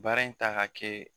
Baara in ta ka kɛ